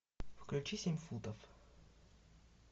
включи семь футов